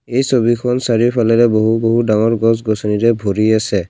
এই ছবিখন চাৰিওফালেৰে বহু বহু ডাঙৰ গছ গছনিৰে ভৰি আছে।